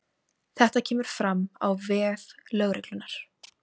Þetta kemur fram á vef lögreglunnar